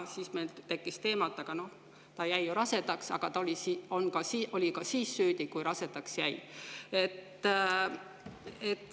Siis meil teema, et aga ta jäi ju rasedaks, et ta oli ka siis süüdi, kui rasedaks jäi.